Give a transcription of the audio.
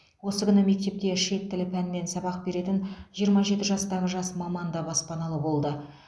осы күні мектепте шет тілі пәнінен сабақ беретін жиырма жеті жастағы жас маман да баспаналы болды